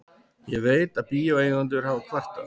Ég veit, að bíóeigendur hafa kvartað.